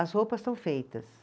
As roupas estão feitas.